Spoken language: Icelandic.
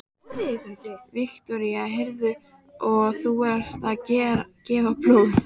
Viktoría: Heyrðu, og þú ert að gefa blóð?